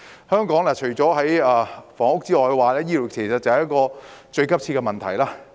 香港除房屋問題外，醫療亦是一個最急切的問題。